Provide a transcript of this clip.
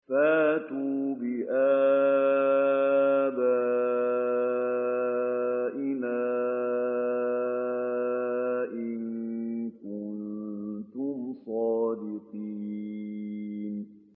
فَأْتُوا بِآبَائِنَا إِن كُنتُمْ صَادِقِينَ